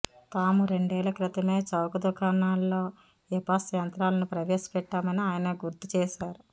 తాము రెండేళ్ల క్రితమే చౌకదుకాణాల్లో ఇపాస్ యంత్రాలను ప్రవేశపెట్టామని ఆయనగుర్తుచేశారు